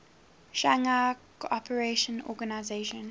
shanghai cooperation organization